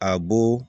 A bo